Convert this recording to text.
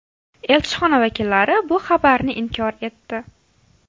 Elchixona vakillari bu xabarni inkor etdi.